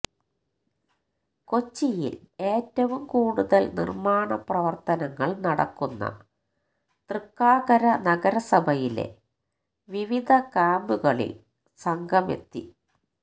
കൊച്ചിയില് ഏറ്റവും കൂടുതല് നിര്മ്മാണ പ്രവര്ത്തനങ്ങള് നടക്കുന്ന തൃക്കാക്കര നഗരസഭയിലെ വിവിധ ക്യാമ്പുകളില് സംഘമെത്തി